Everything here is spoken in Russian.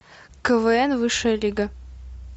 квн высшая лига